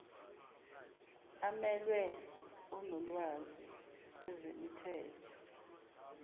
amelwe onolwazi kwezemithetho